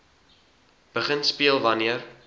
begin speel wanneer